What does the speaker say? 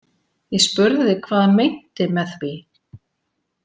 Ég spurði hvað hann meinti með því.